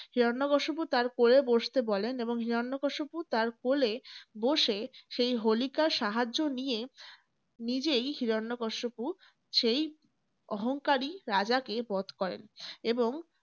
হিরণ্যকশিপু তার ক্রোড়ে বসতে বলেন এবং হিরণ্যকশিপু তার কোলে বসে সেই হোলিকার সাহায্য নিয়ে নিজেই হিরণ্যকশিপু সেই অহংকারী রাজাকে বধ করেন। এবং